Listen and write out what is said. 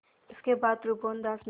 इसके बाद त्रिभुवनदास ने